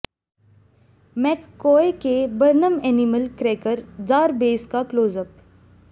McCoy के Barnum animal cracker jar base का close up